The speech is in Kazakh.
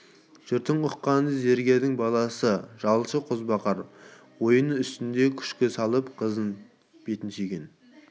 жұрттың ұққаны зергердің баласы жалшы қозбағар ойын үстіңде күшке салып қызы бетінен сүйген